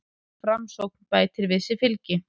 Framsókn bætir við sig fylgi